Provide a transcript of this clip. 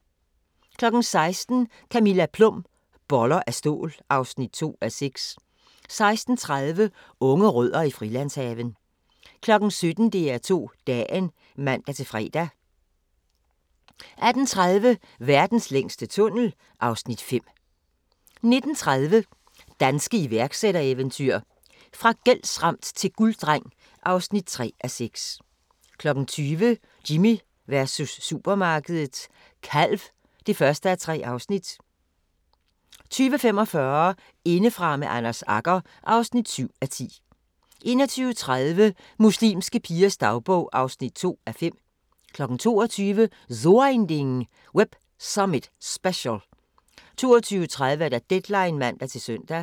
16:00: Camilla Plum – Boller af stål (2:6) 16:30: Unge Rødder i Frilandshaven 17:00: DR2 Dagen (man-fre) 18:30: Verdens længste tunnel (Afs. 5) 19:30: Danske iværksættereventyr – fra gældsramt til gulddreng (3:6) 20:00: Jimmy versus supermarkedet – kalv (1:3) 20:45: Indefra med Anders Agger (7:10) 21:30: Muslimske pigers dagbog (2:5) 22:00: So ein Ding: Web Summit Special 22:30: Deadline (man-søn)